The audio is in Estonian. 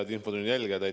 Head infotunni jälgijad!